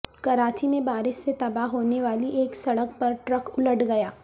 کراچی میں بارش سے تباہ ہونے والی ایک سڑک پر ٹرک الٹ گیا